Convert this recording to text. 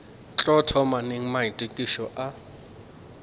tlo thoma neng maitokišo a